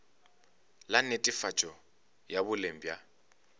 la netefatšo ya boleng bja